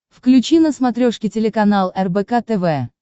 включи на смотрешке телеканал рбк тв